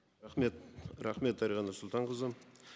рахмет рахмет дариға нұрсұлтанқызы